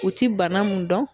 U ti bana mun dɔn